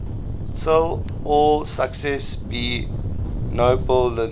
till all success be nobleness